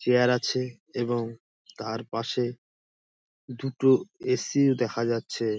chair আছে এবং তারপাশে দুটো এ.সি -ও দেখা যাচ্ছে |